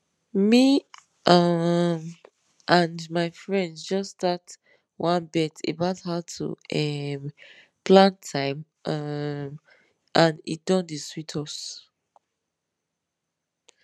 me um and my friends just start one bet about how to um plan time um and e don dey sweet us